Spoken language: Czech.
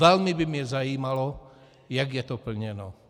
Velmi by mě zajímalo, jak je to plněno.